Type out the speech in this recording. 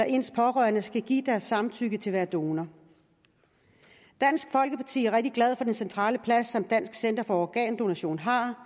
ens pårørende skal give deres samtykke til at donor dansk folkeparti er rigtig glad for den centrale plads som dansk center for organdonation har